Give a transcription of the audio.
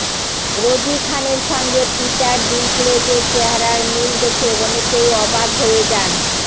রোজি খানের সঙ্গে পিটার ডিঙ্কলেজের চেহারার মিল দেখে অনেকেই অবাক হয়ে যান